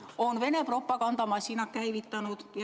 ... on Vene propagandamasina käivitanud.